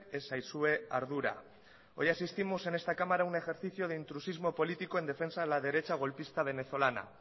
ez zaizue ardura hoy asistimos en esta cámara a un ejercicio de intrusismo político en defensa de la derecha golpista venezolana